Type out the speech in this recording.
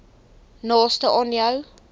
naaste aan jou